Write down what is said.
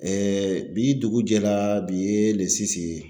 bi dugu jɛla, bi ye ye.